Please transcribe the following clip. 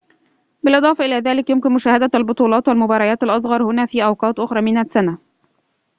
بالإضافة إلى ذلك يُمكن مشاهدة البطولات والمباريات الأصغر هنا في أوقات أخرى من السنة